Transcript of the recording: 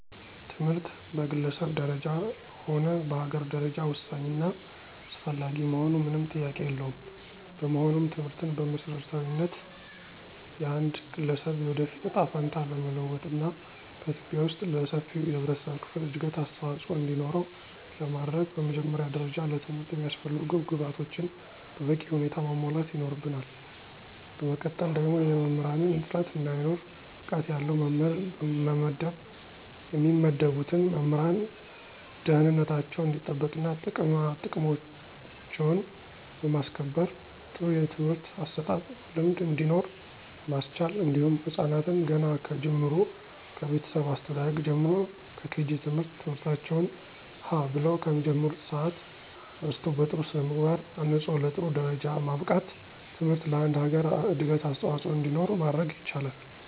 ትምህርት በግለሰብ ደረጃ ሆነ በአገር ደረጃ ወሳኝ እና አስፈላጊ መሆኑ ምንም ጥያቄ የለውም። በመሆኑም ትምህርትን በመሰረታዊነት የአንድ ገለሰብ የወደፊት እጣ ፈንታ ለመለወጥና በኢትዩጵያ ወስጥ ለሰፊው የህብረተሰብ ክፍል እድገት አስተዋፅኦ እንዲኖረው ለማድረግ በመጀመሪያ ደረጃ ለትምህርት የሚያስፈልጉ ግብአቶችን በበቂ ሁኔታ ማሟላት ይኖርብናል በመቀጠል ደግሞ የመምህራንን እጥረት እንዳይኖር ብቃት ያለው መምህር መመደብ የሚመደቡትን መምህራን ደህንነታቸው እንዲጠበቅና ጥቅማጥቅማቸውን በማስከበር ጥሩ የትምህርት አሰጣጥ ልምድ እንዲኖር ማስቻል እንዲሁም ህፃናትን ገና ከጅምሩ ከቤተሰብ አስተዳደግ ጀምሮ ከኬጂ ት/ቤት ትምህርታቸውን ሀ ብለው ከሚጀምሩበት ሰአት አንስቶ በጥሩ ስነምግባር አንፆ ለጥሩ ደረጃ ማብቃት ትምህርት ለአንድ ሀገር እድገት አስዋፆኦ እንዲኖር ማድረግ ይቻላል።